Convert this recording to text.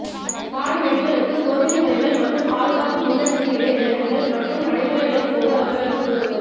பாடநெறிகளுக்கு சோதனை முறைகள் மற்றும் பாதுகாப்பு முன்னெச்சரிக்கைகளை விளக்குங்கள் மற்றும் நடைமுறைகளின் போது அவர்களுக்கு உதவுங்கள்